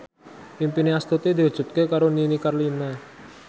impine Astuti diwujudke karo Nini Carlina